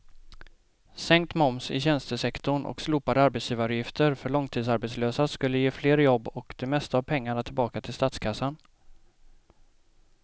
Sänkt moms i tjänstesektorn och slopade arbetsgivaravgifter för långtidsarbetslösa skulle ge fler jobb och det mesta av pengarna tillbaka till statskassan.